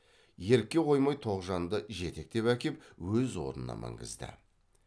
ерікке қоймай тоғжанды жетектеп әкеп өз орнына мінгізді